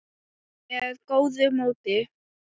með góðu móti.